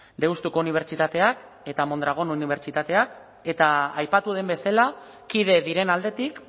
deustuko unibertsitateak eta mondragon unibertsitateak eta aipatu den bezala kide diren aldetik